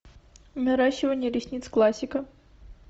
наращивание ресниц классика